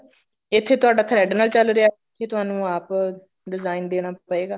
ਇੱਥੇ ਤੁਹਾਡਾ thread ਨਾਲ ਚਲ ਰਿਹਾ ਇੱਥੇ ਤੁਹਾਨੂੰ ਆਪ design ਦੇਣਾ ਪਏਗਾ